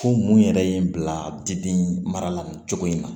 Ko mun yɛrɛ ye n bila dimi mara la nin cogo in na